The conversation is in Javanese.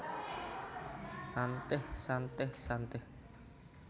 Shantih Shantih Shantih